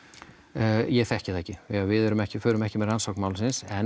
ég þekki það ekki við förum ekki förum ekki með rannsókn málsins en